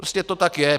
Prostě to tak je.